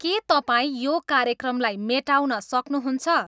के तपाईँ यो कार्यक्रमलाई मेटाउन सक्नुहुन्छ